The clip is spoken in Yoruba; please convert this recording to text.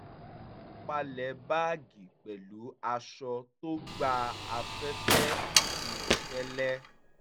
mo palẹ̀ báàgì pẹ̀lú aṣọ tó gba afẹ́fẹ́ àti fẹ́lẹ́